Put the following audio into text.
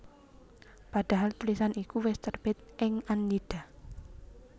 Padahal tulisan iku wis terbit ing Annida